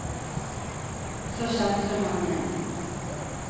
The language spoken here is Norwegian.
Og så kjente hun ham igjen.